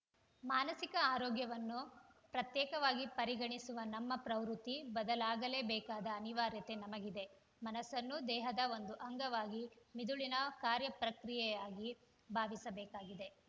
ಮಾನಸಿಕ ಆರೋಗ್ಯವನ್ನು ಪ್ರತ್ಯೇಕವಾಗಿ ಪರಿಗಣಿಸುವ ನಮ್ಮ ಪ್ರವೃತ್ತಿ ಬದಲಾಗಲೇಬೇಕಾದ ಅನಿವಾರ್ಯತೆ ನಮಗಿದೆ ಮನಸ್ಸನ್ನೂ ದೇಹದ ಒಂದು ಅಂಗವಾಗಿ ಮಿದುಳಿನ ಕಾರ್ಯಪ್ರಕ್ರಿಯೆಯಾಗಿ ಭಾವಿಸಬೇಕಾಗಿದೆ